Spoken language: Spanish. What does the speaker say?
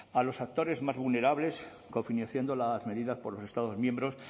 a los sectores más vulnerables cofinanciando las medidas por los estados miembros